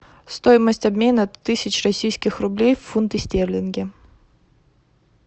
стоимость обмена тысяч российских рублей в фунты стерлинги